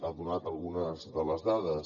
ha donat algunes de les dades